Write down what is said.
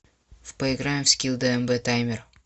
поиграем в скилл дмб таймер